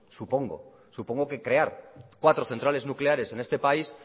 supongo supongo que crear cuatro centrales nucleares en este país